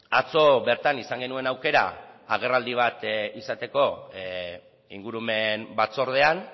atzo bertan izan genuen aukera agerraldi bat izateko ingurumen batzordean